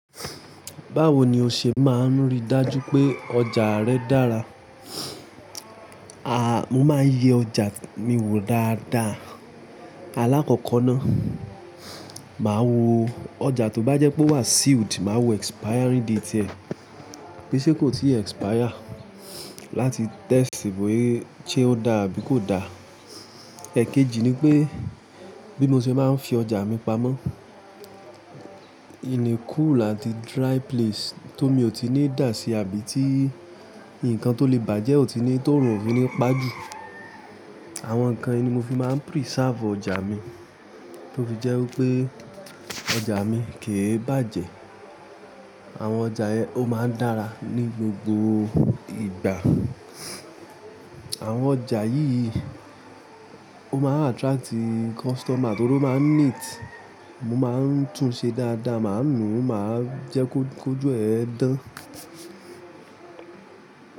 Báwo ni o ṣe máa ń rí dájú pé ọjà rẹ dára? A, mo máa ń yẹ ọjà mi wò dáadáa. Alákọ̀ọ́kọ́na, màá wo ọjà to bá jẹ́ pé wà sealed, màá wo expiry date rẹ̀, bí ṣe kò tíì expire. Láti test bóyá ṣé ó dá àbí kò da. Ẹ̀keji ni pé bí mo ṣe máa ń fi ọjà mi pamọ́. In a cool àti dry place tó mi ò tí ì ní dà sí àbí tí nǹkan tó lè bàjẹ́ ò tí ní tó rùn òfin ni ìpá jù. Àwọn nǹkan yìí ni mo fi máa ń preserve ọjà mi, tó fi jẹ́ wípé ọjà mi kì í bàjẹ́. Àwọn ọjà yẹn ó máa ń dára ní gbogbo ìgbà. Àwọn ọjà yìí ó máa ń attract customer torí ó máa ń neat. Mo máa ń tún un ṣe dáadáa, màá nùú, màá jẹ́ kó jó ẹ dán.